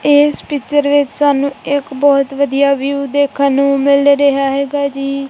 ਇਸ ਪਿਚਰ ਵਿੱਚ ਸਾਨੂੰ ਇੱਕ ਬਹੁਤ ਵਧੀਆ ਵਿਊ ਦੇਖਣ ਨੂੰ ਮਿਲ ਰਿਹਾ ਹੈਗਾ ਜੀ।